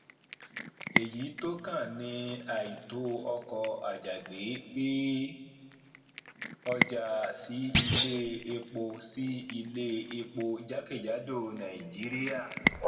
èyí tó kàn ni àìtó ọkọ àjàgbé gbé ọjà sí ilé epo sí ilé epo jakejado nàìjíríà